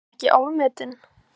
Er hann ekki ofmetinn?